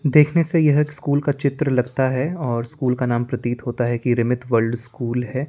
देखने से यह स्कूल का चित्र लगता है और स्कूल का नाम प्रतीत होता है कि रिमिथ वर्ल्ड स्कूल है।